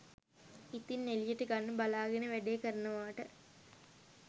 ඉතින් එලියට ගන්න බලාගෙන වැඩේ කරනවට